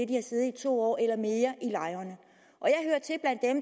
de har siddet i to år eller mere i lejrene